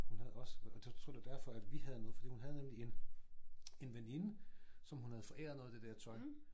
Hun havde også og det jeg tror det var derfor at vi havde noget fordi hun havde nemlig en en veninde som hun havde foræret noget af det der tøj